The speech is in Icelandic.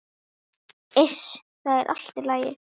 Iss, það er allt í lagi.